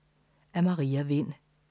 Af Maria Vind